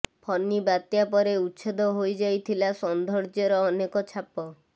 ଫନି ବାତ୍ୟା ପରେ ଉଚ୍ଛେଦ ହୋଇଯାଇଥିଲା ସୌନ୍ଦର୍ଯ୍ୟର ଅନେକ ଛାପ